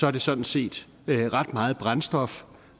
er det sådan set ret meget brændstof